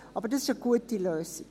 Aber das ist eine gute Lösung.